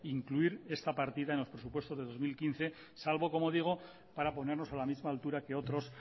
incluir esta partida en los presupuestos de dos mil quince salvo como digo para ponernos a la misma altura que otros